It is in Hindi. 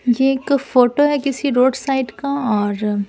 ये एक फोटो है किसी रोड साइड का और--